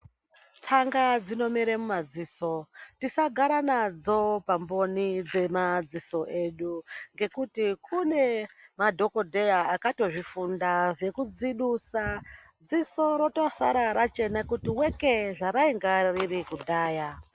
Tsanga dzinomere mumadziso. Tisagara nadzo pamboni dzemadziso edu ngekuti kune madhokodheya akatozvifunda zvekudzidusa dziso rotosara rachena kuti weke zvarainga riri kudhaya.